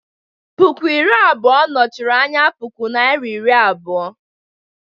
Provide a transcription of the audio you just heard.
Puku iri abụọ nọchiri anya puku Naịra iri abụọ.